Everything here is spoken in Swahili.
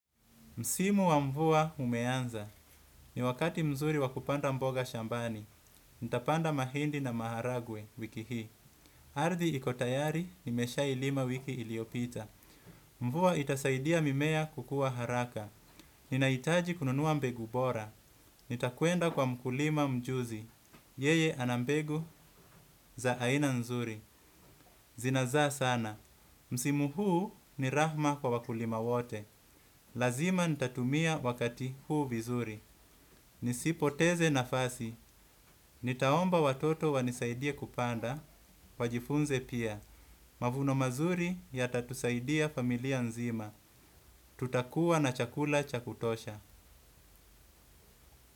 Msimu wa mvua umeanza. Ni wakati mzuri wakupanda mboga shambani. Nitapanda mahindi na maharagwe wiki hii. Ardhi ikotayari, nimesha ilima wiki iliyopita. Mvua itasaidia mimea kukua haraka. Ninaitaji kununua mbegu bora. Nitakuenda kwa mkulima mjuzi. Yeye anambegu za aina nzuri. Zinazaa sana. Msimu huu ni rahma kwa wakulima wote. Lazima nitatumia wakati huu vizuri. Nisipoteze nafasi. Nitaomba watoto wanisaidie kupanda. Wajifunze pia. Mavuno mazuri ya tatusaidia familia nzima. Tutakua na chakula cha kutosha.